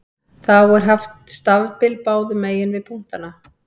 Þá er haft stafbil báðum megin við punktana.